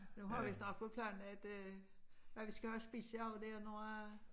Nu har vi snart fået planlagt hvad vi skal have at spise i aften det noget øh